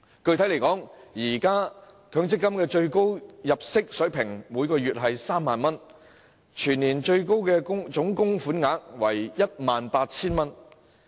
具體而言，現時強積金的最高入息水平為每月3萬元，全年最高總供款為 18,000 元。